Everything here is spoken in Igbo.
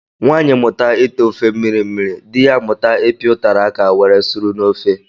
Nwanyi mụta ite ofe mmiri mmiri, dị ya amụta ipi utara áká were suru n'ofe.